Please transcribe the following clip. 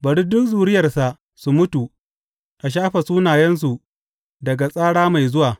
Bari duk zuriyarsa su mutu, a shafe sunayensu daga tsara mai zuwa.